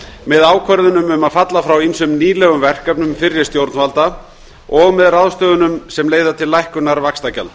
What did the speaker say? með ákvörðunum um að falla frá ýmsum nýlegum verkefnum fyrri stjórnvalda og með ráðstöfunum sem leiða til lækkunar vaxtagjalda